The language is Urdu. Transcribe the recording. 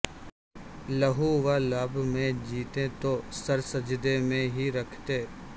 لہو و لعب میں جیتیں تو سر سجدے میں ہیں رکھتے